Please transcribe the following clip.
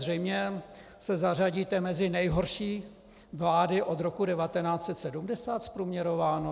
Zřejmě se zařadíte mezi nejhorší vlády od roku 1970 - zprůměrováno.